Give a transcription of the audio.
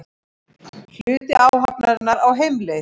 Hluti áhafnarinnar á heimleið